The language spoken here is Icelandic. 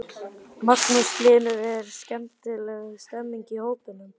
Magnús Hlynur: Er skemmtileg stemming í hópnum?